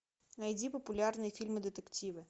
найди популярные фильмы детективы